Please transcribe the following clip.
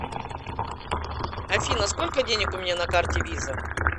афина сколько денег у меня на карте виза